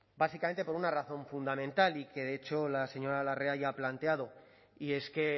básicamente por una razón fundamental y que de hecho la señora larrea ya ha planteado y es que